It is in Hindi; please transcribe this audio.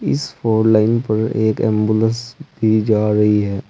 इस फोर लेन पर एक एंबुलेंस भी जा रही है।